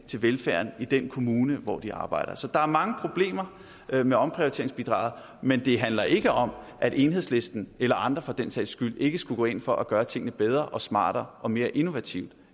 til velfærden i den kommune hvor de arbejder så der er mange problemer med omprioriteringsbidraget men det handler ikke om at enhedslisten eller andre for den sags skyld ikke skulle gå ind for at gøre tingene bedre smartere og mere innovativt